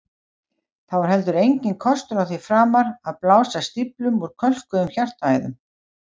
Þá er heldur enginn kostur á því framar að blása stíflum úr kölkuðum hjartaæðum.